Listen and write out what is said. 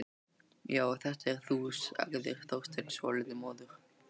Já, þetta ert þú sagði Þorsteinn, svolítið móður.